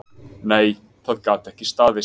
Nei, það gat ekki staðist.